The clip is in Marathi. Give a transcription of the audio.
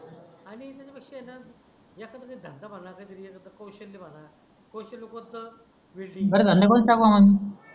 आणि त्याच्या पेक्षा आहे णा एखदा धंदा बगा काही तरी एखदा कौशल्य बगा कौशल्य कोणत ह वेल्डिंग पण धंदा कोणता पण